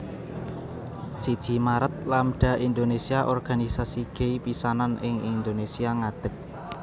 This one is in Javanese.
Siji Maret Lambda Indonésia organisasi gay pisanan ing Indonésia ngadeg